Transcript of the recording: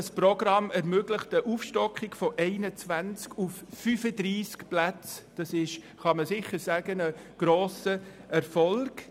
das Programm ermöglicht eine Aufstockung von 21 auf 35 Plätze, was als grosser Erfolg zu werten ist.